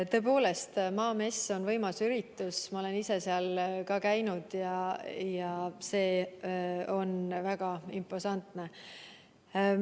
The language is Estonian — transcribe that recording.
Tõepoolest, Maamess on võimas üritus, ma olen ise seal käinud ja see on väga imposantne.